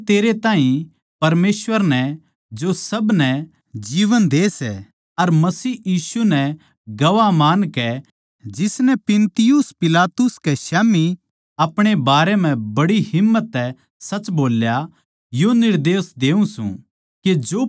मै तेरै ताहीं परमेसवर नै जो सब नै जीवन दे सै अर मसीह यीशु नै गवाह मानकै जिसनै पुन्तियुस पिलातुस कै स्याम्ही अपणे बारें म्ह बड़ी हिम्मत तै सच बोल्या यो निर्देश देऊँ सूं